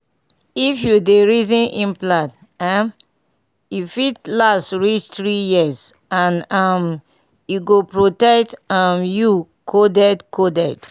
if you dey reason implant — um — e fit last reach three years and um e go protect um you coded coded.